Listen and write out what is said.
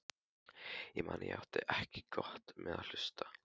Ég man að ég átti ekki gott með að hlusta.